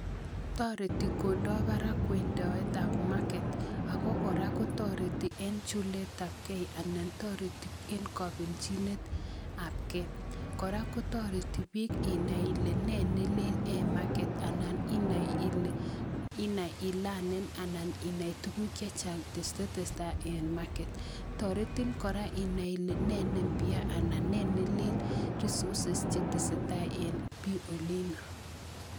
Toreti Kondo barak wendoetab market ak ko kora kotoreti en chuletabkei anan toreti en kobelchinetabke, kora kotoreti biik inai ilee nee nelel en market anai ilee inai ilee ii lanen anan inai tukuk chechang cheteseta en market toretin kora inai ilee nee ne mpya anan ne nelel resources cheteseta en bii olino.